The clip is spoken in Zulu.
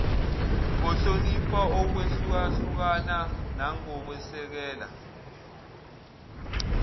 ngohlonipha ukwehlukahlukana nangokwesekela